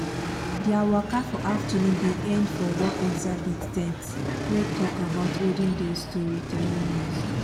their waka for afternoon bin end for one exhibit ten t wey talk about olden days storytelling ways.